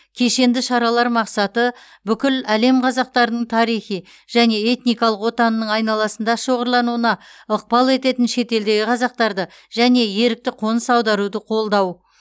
кешенді шаралар мақсаты бүкіл әлем қазақтарының тарихи және этникалық отанының айналасында шоғырлануына ықпал ететін шетелдегі қазақтарды және ерікті қоныс аударуды қолдау